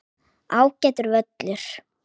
Ágætur völlur.